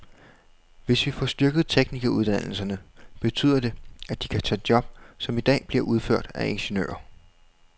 Hvis vi får styrket teknikeruddannelserne, betyder det, at de kan tage job, som i dag bliver udført af ingeniører.